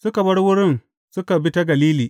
Suka bar wurin suka bi ta Galili.